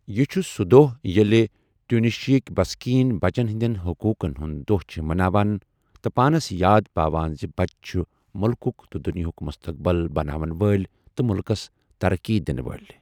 یہِ چُھ سُہ دۄہ ییٚلہِ ٹیٛونِشیاہٕکہِ بسکیٖن بَچن ہِنٛدین حٔقوٗقن ہُنٛد دوہ چھِ مناوان تہٕ پانس یاد پاوان زِ بَچہٕ چھِ مُلکُک تہٕ دُنیاہُک مُستقبِل بَناون وٲلۍ تہٕ مٗلكس ترقی دِنہٕ وٲلۍ۔